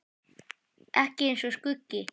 Ekki eins og skuggi.